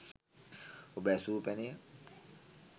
ඔබ ඇසූ පැනය